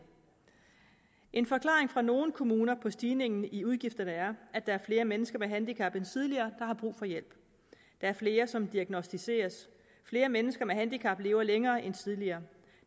en forklaring fra nogle kommuner på stigningen i udgifterne er at der er flere mennesker med handicap end tidligere har brug for hjælp der er flere som diagnosticeres flere mennesker med handicap lever længere end tidligere